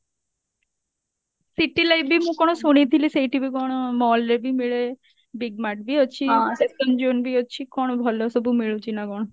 city life ବି ମୁଁ କଣ ଶୁଣିଥିଲି ସେଇଠି ବି କଣ mall ରେ ବି ମିଳେ big mart ବି ଅଛି fashion zone ବି ଅଛି କଣ ଭଲ ସବୁ ମିଳୁଛି ନା କଣ